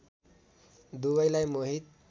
दुवैलाई मोहित